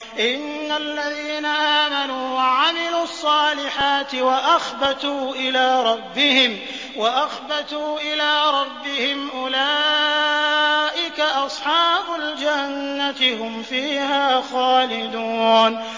إِنَّ الَّذِينَ آمَنُوا وَعَمِلُوا الصَّالِحَاتِ وَأَخْبَتُوا إِلَىٰ رَبِّهِمْ أُولَٰئِكَ أَصْحَابُ الْجَنَّةِ ۖ هُمْ فِيهَا خَالِدُونَ